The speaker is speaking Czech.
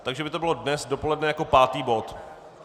Takže by to bylo dnes dopoledne jako pátý bod.